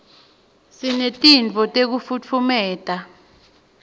sinetinto tekufutfumata